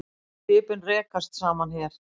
Og skipin rekast saman hér.